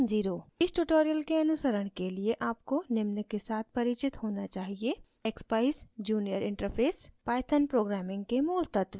इस tutorial के अनुसरण के लिए आपको निम्न के साथ परिचित होना चाहिए: